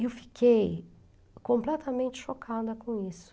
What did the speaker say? Eu fiquei completamente chocada com isso.